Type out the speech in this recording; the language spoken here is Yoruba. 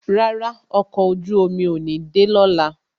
Rárá, ọkọ̀ ojú omi ò ní de lọ́la